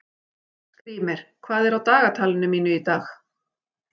Skrýmir, hvað er á dagatalinu mínu í dag?